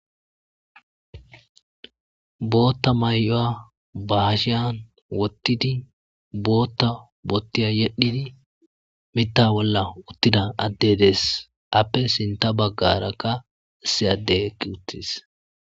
bootta may'oya ba hashiyan wottidi bootta boottiya yedhidi mitta bolla uttida adde des appe sinta baggarakka issi ade eqqi uttis